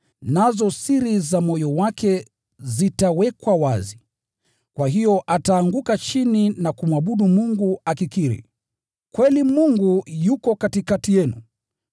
nazo siri za moyo wake zitawekwa wazi. Kwa hiyo ataanguka chini na kumwabudu Mungu akikiri, “Kweli Mungu yuko katikati yenu!”